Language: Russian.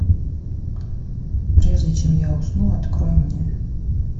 прежде чем я усну открой мне